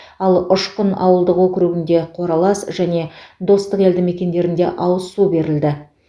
ал ұшқын ауылдық округінде қоралас және достық елді мекендерінде ауыз су берілді